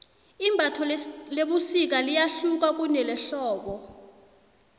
imbatho lebusika liyahluka kunelehlobo